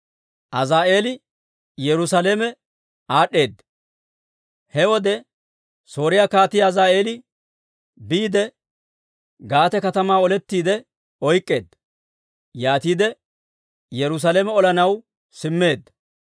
He wode Sooriyaa Kaatii Azaa'eeli biide, Gaate katamaa olettiide oyk'k'eedda. Yaatiide Yerusaalame olanaw simmeedda.